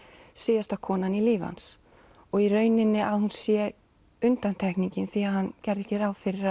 síðasta konan í lífi hans í rauninni að hún sé undantekningin því hann gerði ekki ráð fyrir